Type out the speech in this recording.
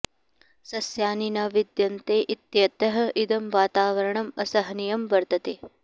सस्यानि न विद्यन्ते इत्यतः इदं वातावरणम् असहनीयं वर्तते